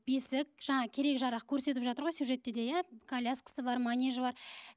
бесік жаңағы керек жарақ көрсетіп жатыр ғой сюжетте де иә коляскасы бар манежі бар